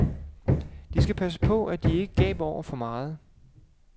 De skal passe på, at de ikke gaber over for meget.